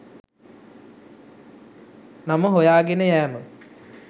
නම හොයාගෙන යෑම.